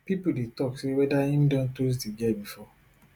pipo dey tok say weda im don toast di girl bifor